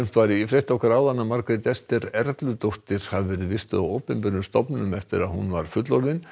var í frétt okkar áðan að Margrét Esther hafi verið vistuð á opinberum stofnunum eftir að hún var fullorðin